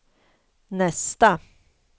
nästa